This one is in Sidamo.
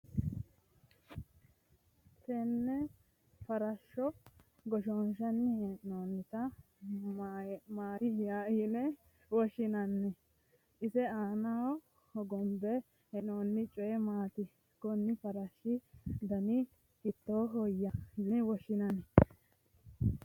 tenne farashshuni goshoonshanni hee'noonita maati yine woshshinanni? ise aanano hogombe hee'nooni coyi maati? konni farashshu dani hiittooho yine woshshinanni ?